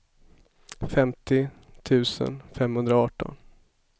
femtio tusen femhundraarton